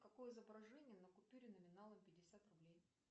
какое изображение на купюре номиналом пятьдесят рублей